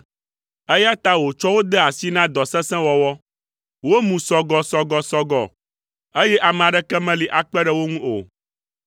Eya ta wòtsɔ wo de asi na dɔ sesẽ wɔwɔ, womu sɔgɔsɔgɔsɔgɔ, eye ame aɖeke meli akpe ɖe wo ŋu o.